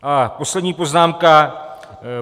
A poslední poznámka.